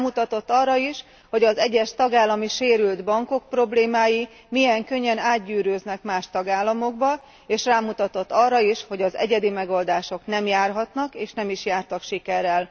Rámutatott arra is, hogy az egyes tagállami sérült bankok problémái milyen könnyen átgyűrűznek más tagállamokba, és rámutatott arra is, hogy az egyedi megoldások nem járhatnak, és nem is jártak sikerrel.